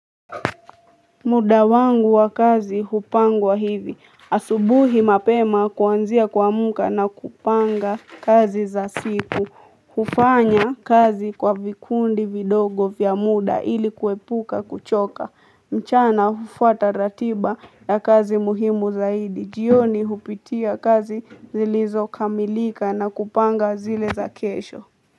Muda wangu wa kazi hupangwa hivi. Asubuhi mapema kuanzia kuamka na kupanga kazi za siku. Hufanya kazi kwa vikundi vidogo vya muda ili kuepuka kuchoka. Mchana hufuata ratiba ya kazi muhimu zaidi. Jioni hupitia kazi zilizo kamilika na kupanga zile za kesho.